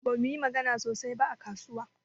Bamu yi magana sosai ba a kasuwa.